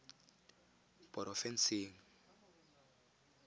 porofensing